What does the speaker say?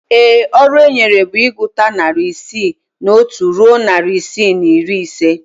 Ee, ọrụ enyere bụ ịgụta narị isii na otu ruo narị isii na iri ise